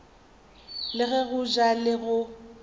le go ja le go